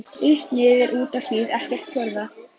Upp niður út á hlið ekkert fjórða?